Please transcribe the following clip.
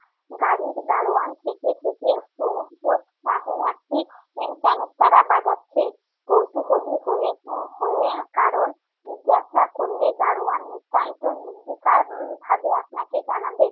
গাড়ির গাড়োয়ান থেকে থেকে একটু উদ্ভট একটি ক্যনেস্তারা বাজাচ্ছে। কৌতূহলী হয়ে উহ হয়ে কারণ জিজ্ঞেস করলে গাড়োয়ান নিতান্ত নির্বিকার উম ভাবে আপনাকে জানাবে।